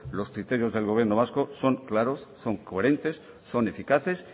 los criterios del gobierno vasco son claros son coherentes son eficaces